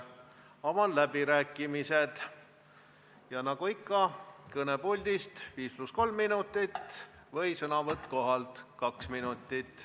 Avan läbirääkimised ja nagu ikka, sõnavõtt kõnepuldis 5 + 3 minutit ja sõnavõtt kohalt 2 minutit.